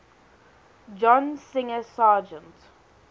john singer sargent